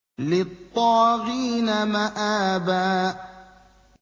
لِّلطَّاغِينَ مَآبًا